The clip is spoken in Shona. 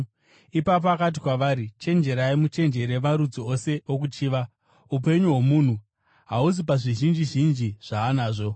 Ipapo akati kwavari, “Chenjerai! Muchenjerere marudzi ose okuchiva; upenyu hwomunhu hahuzi pazvizhinji zhinji zvaanazvo.”